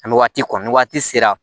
An bɛ waati kɔni waati sera